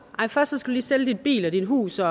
nej først lige sælge din bil og dit hus og